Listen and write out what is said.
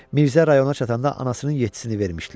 Mirzə rayona çatanda anasının yeddisini vermişdilər.